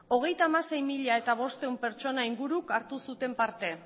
hogeita hamasei mila bostehun pertsona inguruk hartu zuten parte